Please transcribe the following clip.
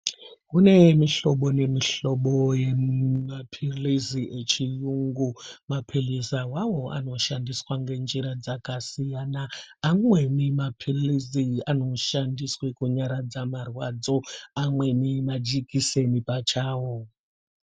Kune mihlobo nemihlobo yemapilizi echiyungu ,mapilizi awawo anoshandiswa ngenjira jakasiyana siyana ,amweni mapilizi anoshandiswa kunyaradza marwadzo ,amweni majikiseni pachawo .